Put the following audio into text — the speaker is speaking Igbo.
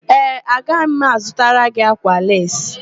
Ee, aga m azụtara gị ákwà leesi.